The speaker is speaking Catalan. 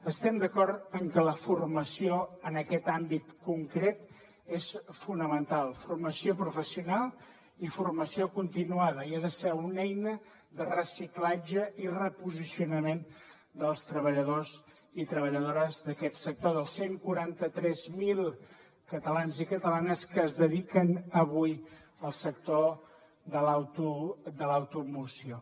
estem d’acord que la formació en aquest àmbit concret és fonamental formació professional i formació continuada i ha de ser una eina de reciclatge i reposicionament dels treballadors i treballadores d’aquest sector dels cent i quaranta tres mil catalans i catalanes que es dediquen avui al sector de l’automoció